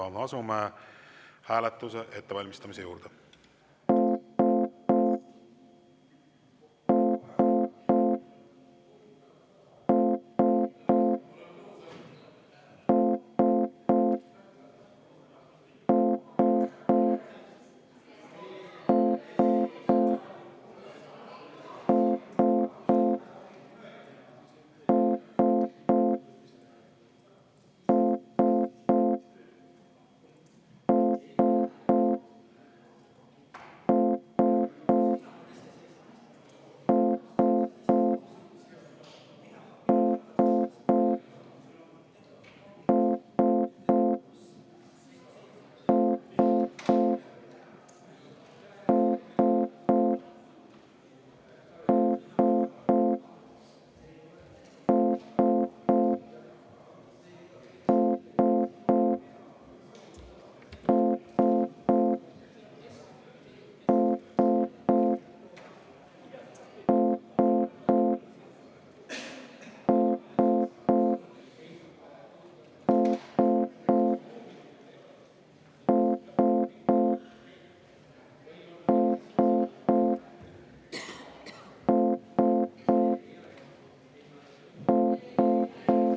Asume hääletuse ettevalmistamise juurde.